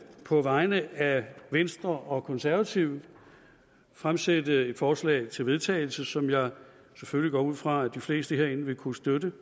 på vegne af venstre og konservative fremsætte et forslag til vedtagelse som jeg selvfølgelig går ud fra de fleste herinde vil kunne støtte